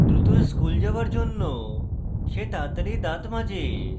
দ্রুত স্কুল যাওয়ার জন্য সে তাড়াতাড়ি দাঁত মাজে